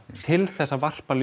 til þess að varpa